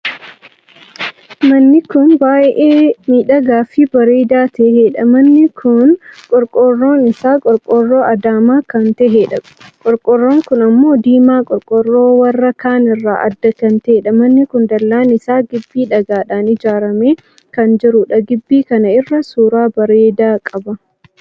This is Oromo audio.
Manni kun baay'ee miidhagaa fi bareedaa taheedha. manni kun qorqorroon isaa qorqorroo adaamaa kan taheedha. qorqorroon kun ammoo diimaa qorqorroo warra kaan irraa adda kan taheedha. manni kun dallaan isaa gibbii dhagaadhaan ijaaramee kan jiruudha. gibbi kana irra suuraa bareedaa qabaam!